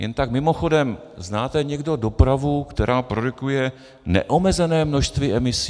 Jen tak mimochodem, znáte někdo dopravu, která produkuje neomezené množství emisí?